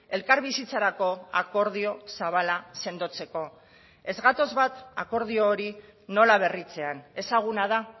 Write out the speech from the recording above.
elkarbizitzarako akordio zabala sendotzeko ez gatoz bat akordio hori nola berritzean ezaguna da